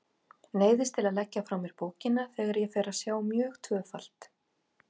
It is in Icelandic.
Neyðist til að leggja frá mér bókina þegar ég fer að sjá mjög tvöfalt.